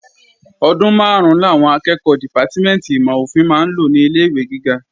Ọdún máàrún làwọn akẹ́ẹ̀kọ́ dìpátímẹ̀ntì ìmọ̀-ofin máa ń lò ní ilé-ìwé gíga